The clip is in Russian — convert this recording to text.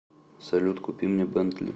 салют купи мне бентли